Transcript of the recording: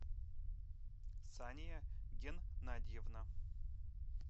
сания геннадьевна